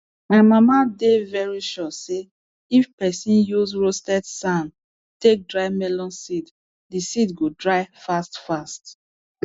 my mama dey very sure say if pesin use roasted sand take dry melon seed di seed go dry fast fast